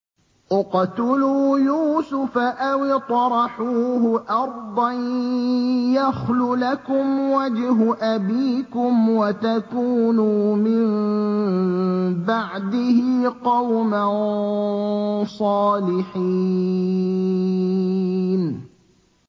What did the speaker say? اقْتُلُوا يُوسُفَ أَوِ اطْرَحُوهُ أَرْضًا يَخْلُ لَكُمْ وَجْهُ أَبِيكُمْ وَتَكُونُوا مِن بَعْدِهِ قَوْمًا صَالِحِينَ